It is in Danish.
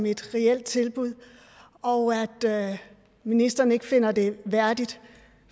et reelt tilbud og at ministeren ikke finder det værdigt